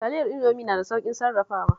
Taliyar Indomi na da sauƙin sarrafawa